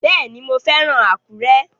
Bẹ́ẹ̀ni, mo fẹ́ràn Àkúrẹ́